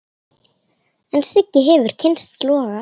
En Siggi hefur kynnst loga.